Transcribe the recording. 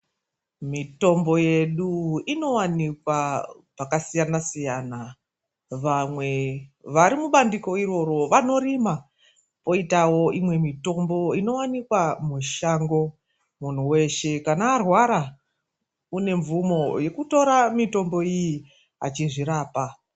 Mitombo yedu inowanikwa pakasiyana siyana. Vamwe vari mubandiko iroro vanorima. Koitawo imwe mitombo inowanikwa mushango. Munhu weshe kana arwara une mvumo yekutora mitombo iyi achizvirapa.